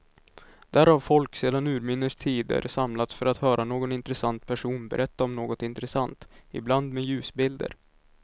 Där har folk sedan urminnes tider samlats för att höra någon intressant person berätta om något intressant, ibland med ljusbilder.